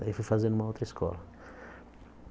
Daí fui fazer numa outra escola.